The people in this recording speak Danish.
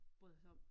Bryder sig om